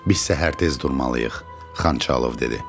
Biz səhər tez durmalıyıq, Xançalov dedi.